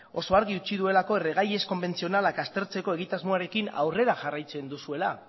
oso argi utzi duelako erregai ez konbentzionalak aztertzeko egitasmoarekin aurrera jarraitzen duzuela